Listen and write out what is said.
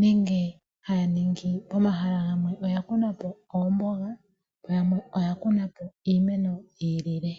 nenge haya ningi pomahala gamwe oya kunapo oomboga gamwe oya kunapo iimeno yi ilile.